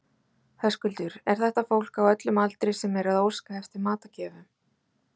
Höskuldur, er þetta fólk á öllum aldri sem er að óska eftir matargjöfum?